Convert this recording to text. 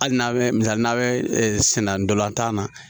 Hali n'a bɛ misali n'a bɛ senna ndolantan na